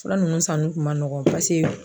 Fura nunnu sanni kun ma nɔgɔn paseke.